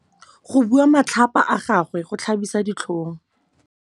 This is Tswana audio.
Go bua matlhapa ga gagwe go tlhabisa ditlhong.